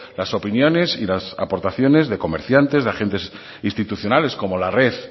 las opiniones y las aportaciones de comerciantes de agentes institucionales como la red